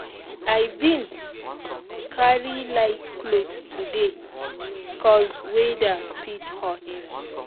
i bin um carry light cloth today cos weather fit hot